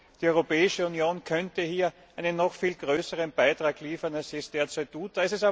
Die Europäische Union könnte hier einen noch viel größeren Beitrag leisten, als sie es derzeit tut.